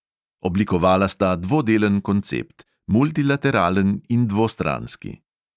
Oblikovala sta dvodelen koncept – multilateralen in dvostranski.